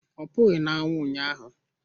Ọ pụghị na anwụ ụnyaahụ